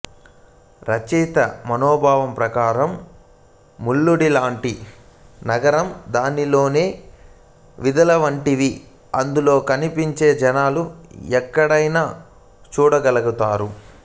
రచయిత మనోభావం ప్రకారం మాల్గుడి లాంటి నగరం దానిలోని వీథులవంటివి అందులో కనిపించే జనులు ఎక్కడైన చూడగల్మంటాడు